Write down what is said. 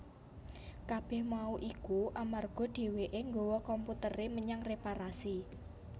Kabèh mau iku amarga dhèwèké nggawa komputeré menyang réparasi